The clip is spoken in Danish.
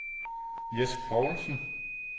Jes Povlsen